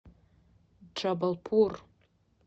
джабалпур